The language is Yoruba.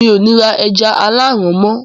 mi ò ní ra “ ẹja aláàrán” mọ́